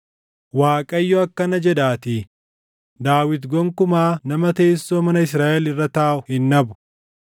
Waaqayyo akkana jedhaatii: ‘Daawit gonkumaa nama teessoo mana Israaʼel irra taaʼu hin dhabu;